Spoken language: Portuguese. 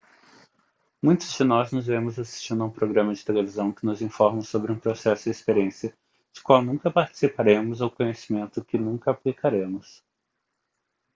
muitos de nós nos vemos assistindo a um programa de televisão que nos informa sobre um processo ou experiência da qual nunca participaremos ou conhecimento que nunca aplicaremos